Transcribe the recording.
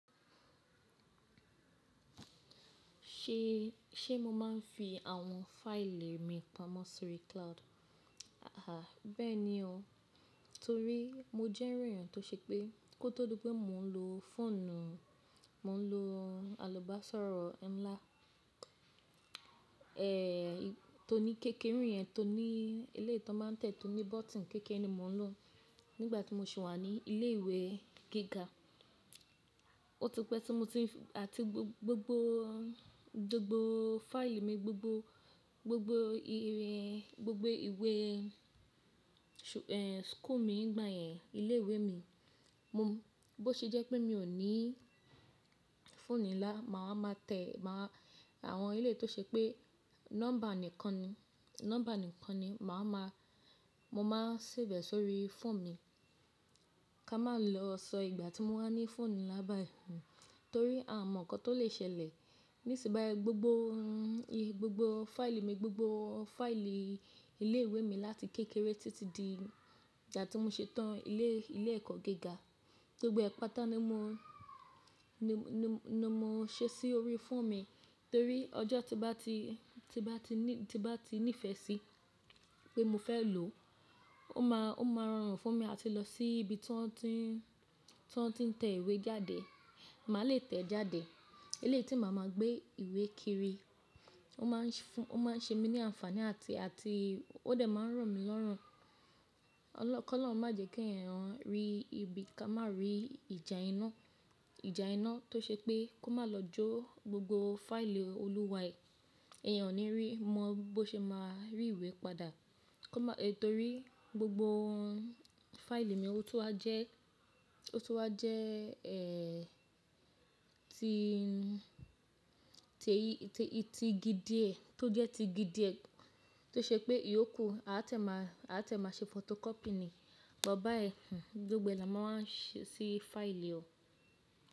Ṣe, ṣe mo máa ń fi àwọn fáìlì mi pamọ́ sórí cloud? Aàhà, bẹ́ẹ̀ ni o. Torí mo jẹ́ irú ènìyàn tó ṣe pé kó tó di pé mò ń lo fóònù, mò ń lo alọ́baṣọ̀rọ̀ ńlá, tó ní kéke irú yẹn tó ní eleyi ti won máa ń tẹ̀, tó ní bọ́tton kékeré ni mò ń lò nígbà tí mo sì wà ní ilé ìwé gíga. Ó ti pẹ́ tí mo ti, àti gbogbo, gbogbo fáìlì mi gbogbo, gbogbo irin, gbogbo ìwé, school mi nígbà yẹn, ilé ìwé mi. Mo, bó ṣe jẹ́ pé mi ò ní fóònù ńlá, màá wa máa tẹ̀, màá, àwọn eléyi tó ṣe pé nọ́mbà nìkan ni, nọ́mbà nìkan ni màá ma, mo máa save ẹ̀ sórí fóònù mi. Ká máa lọ sọ ìgbà tí mo bá ní fóònù ńlá bá yi torí a mọ̀ ǹkan tó lè ṣẹlẹ̀. Nísin báyi gbogbo, gbogbo fáìlì mi, gbogbo fáìlì ilé ìwé mi láti kékeré títí di ìgbà tí mo ṣe tán ilé, ilé ẹ̀kọ́ gíga, gbogbo ẹ̀ pà tá ni mo, ni, ni, ni mo ṣe sí orí fóònù mi. Torí ọjọ́ tí bá ti, tí bá ti ní, tí bá ti nífẹ̀ẹ́ sí pé mo fẹ́ lò ó, ó máa, ó máa rọrùn fún mi láti lọ sí ibi tí wọ́n ti ń, tí wọ́n ti ń tẹ ìwé jáde. Màá le tẹ̀ ẹ́ jáde. Eleyi tí màá máa gbé ìwé kiri ó máa ń fún, ó máa ń ṣe mí ní àǹfààní àti, àti ó de máa ń ro mí lọ́rùn. Ọlọ́, kolọrun má jẹ́ kí ẹ̀yàn rí ibi ká má rí ìjà iná. Ìjà iná tó ṣe pé kó má lọ jó gbogbo fáìlì olúwa ẹ. Ẹ̀yàn ò ní rí mọ bó ṣe máa rí ìwé padà. Kó má, torí gbogbo fáìlì mi, ó tun wa jẹ́, ó tun wa jẹ́ ti, ti igi díẹ̀, tó jẹ́ ti igi díẹ̀ tó ṣe pé ìyókù a tẹ̀ máa, a tiẹ̀ máa ṣe fotokọ́pì ni. Bu bayi gbogbo ẹ̀ là máa ń ṣe sí fáìlì o.